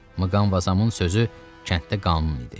Mqanvazamın sözü kənddə qanun idi.